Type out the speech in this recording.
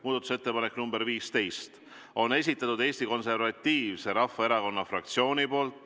Muudatusettepaneku nr 15 on esitanud Eesti Konservatiivse Rahvaerakonna fraktsioon.